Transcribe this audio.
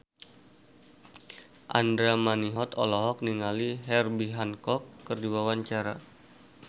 Andra Manihot olohok ningali Herbie Hancock keur diwawancara